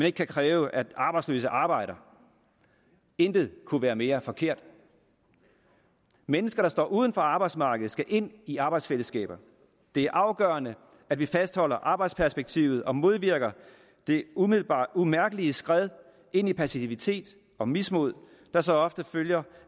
ikke kan kræve at arbejdsløse arbejder intet kunne være mere forkert mennesker der står uden for arbejdsmarkedet skal ind i arbejdsfællesskabet det er afgørende at vi fastholder arbejdsperspektivet og modvirker det umiddelbart umærkelige skred ind i passivitet og mismod der så ofte følger